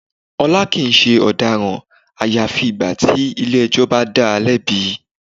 Ọlá kìí ṣe ọ̀daràn àyàfi ìgbà tí ilé ẹjọ́ bá dáa lẹ́bi.